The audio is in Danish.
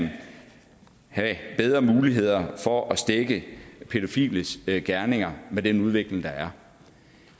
have bedre muligheder for at stække pædofiles gerninger med den udvikling der er